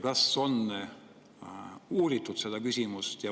Kas on uuritud seda küsimust?